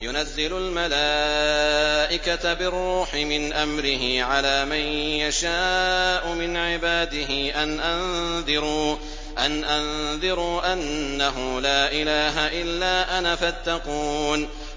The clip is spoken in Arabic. يُنَزِّلُ الْمَلَائِكَةَ بِالرُّوحِ مِنْ أَمْرِهِ عَلَىٰ مَن يَشَاءُ مِنْ عِبَادِهِ أَنْ أَنذِرُوا أَنَّهُ لَا إِلَٰهَ إِلَّا أَنَا فَاتَّقُونِ